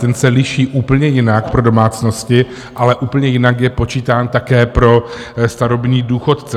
Ten se liší úplně jinak pro domácnosti, ale úplně jinak je počítán také pro starobní důchodce.